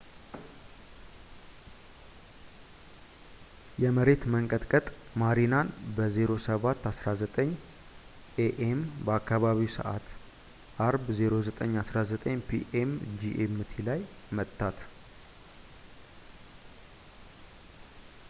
የመሬት መንቀጥቀጥ ማሪናን በ 07:19 ኤ.ኤም. በአካባቢው ሰዓት አርብ 09:19 ፒ.ኤም ጂኤምቲ ላይ መታት